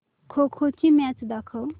खो खो ची मॅच दाखव